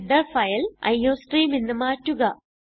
header file iostream എന്ന് മാറ്റുക